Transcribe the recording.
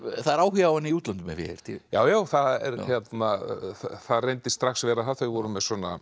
það er áhugi á henni í útlöndum hef ég heyrt já já það reyndist strax vera það þau voru með